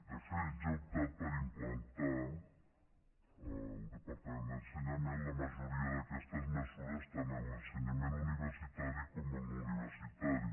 de fet ja ha optat per implantar el departament d’ensenyament la majoria d’aquestes mesures tant en l’ensenyament universitari com el no universitari